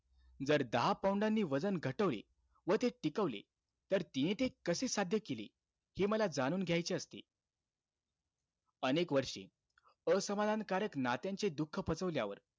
जर दहा pound नी वजन घटवले व ते टिकवले, तर तिने ते कसे साध्य केले? हे मला जाणून घायचे असते. अनेक वर्षी, असमाधानकारक नात्यांचे दुःख पचवल्यावर,